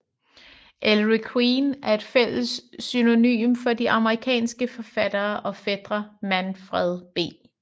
Ellery Queen er et fælles pseudonym for de amerikanske forfattere og fætre Manfred B